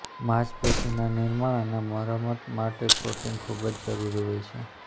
માંસપેશીના નિર્માણ અને મરામત માટે પ્રોટીન ખૂબ જરૂરી હોય છે